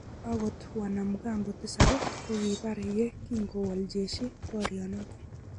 Agot wanamgambo tisab kokibar ye kingowol jeshi borionoto.